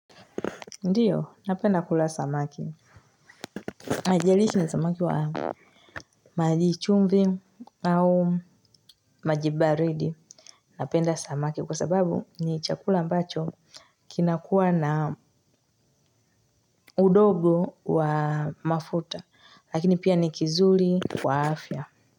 Ndiyo, napenda kula samaki. Haijalishi ni samaki wa maji chumvi au maji baridi. Napenda samaki kwa sababu ni chakula ambacho kinakuwa na udogo wa mafuta. Lakini pia ni kizuri kwa afya.